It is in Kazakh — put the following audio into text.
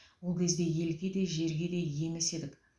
ол кезде елге де жерге де ие емес едік